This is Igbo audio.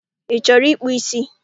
Ị chọrọ ịkpụ ísí?